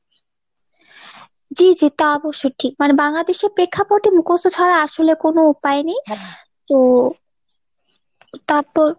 জি জি তা অবশ্য ঠিক , মানে বাংলাদেশের প্রেক্ষাপটে মুখস্ত ছাড়া আসলে কোনো উপায় নেই তো তারপর।